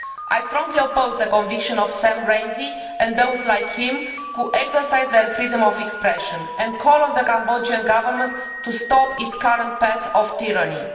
I strongly oppose the conviction of Sam Rainsy and those like him who exercise their freedom of expression, and call on the Cambodian Government to stop its current path of tyranny.